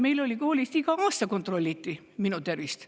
Kui mina olin laps, siis meil koolis igal aastal kontrolliti tervist.